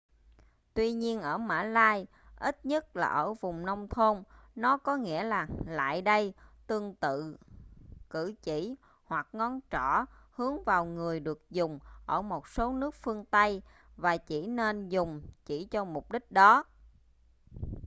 tuy nhiên ở mã lai ít nhất là ở vùng nông thôn nó có nghĩa là lại đây tương tự cử chỉ ngoắc ngón trỏ hướng vào người được dùng ở một số nước phương tây và chỉ nên dùng chỉ cho mục đích đó